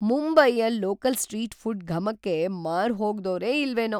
ಮುಂಬೈಯ local street food ಘಮಕ್ಕೆ ಮಾರುಹೋಗ್ದೋರೇ ಇಲ್ವೇನೋ!